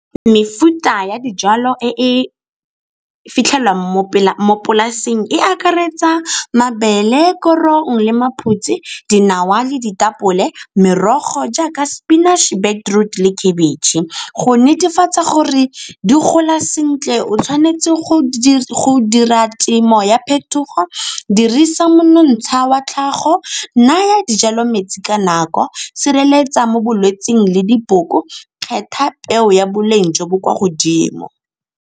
Mefuta ya dijalo e e fitlhelwang mo polaseng e akaretsa mabele, korong le maphutse, dinawa le ditapole. Merogo jaaka spinach-e, beetroot le khebetšhe. Go netefatsa gore di gola sentle o tshwanetse go dira temo ya phetogo dirisa monontsha wa tlhago go naya dijalo metsi ka nako, sireletsa mo bolwetsing le diboko, kgetha peo ya boleng jo bo kwa godimo.